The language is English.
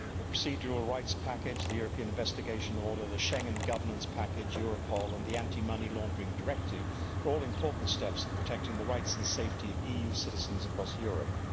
The procedural rights package, the European Investigation Order, the Schengen governance package, Europol and the Anti money Laundering Directive are all important steps in protecting the rights and safety of EU citizens across Europe.